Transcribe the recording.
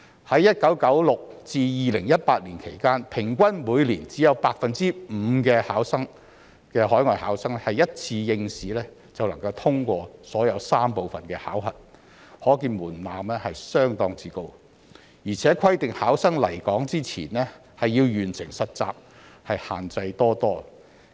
在1996年至2018年期間，平均每年只有 5% 的海外考生一次應試便能通過所有3部分的考核，可見門檻相當高，而且規定考生來港前要完成實習，限制多多。